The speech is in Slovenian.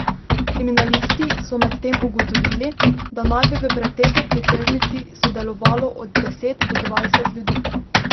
Kriminalisti so medtem ugotovili, da naj bi v pretepu pri tržnici sodelovalo od deset do dvajset ljudi.